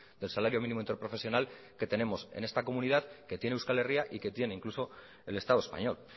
del salario mínimo interprofesional que tenemos en esta comunidad que tiene euskal herria y que tiene incluso el estado español